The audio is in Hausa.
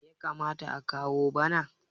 me ya kamata a kawo bana!